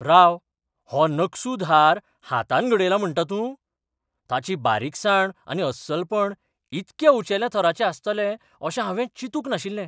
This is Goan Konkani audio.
राव, हो नकसूद हार हातान घडयला म्हंटा तूं? ताची बारीकसाण आनी अस्सलपण इतक्या उंचेल्या थराचें आसतलें अशें हांवें चिंतुंक नाशिल्लें!